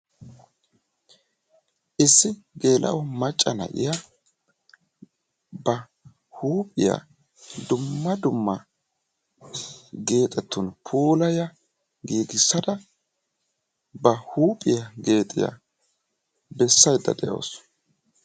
Issi geele'o macca na'iya ba huuphphiya dumma dumma geexetun puulaya giigissada ba huuphphiya geexiyaa bessayida de'awusu.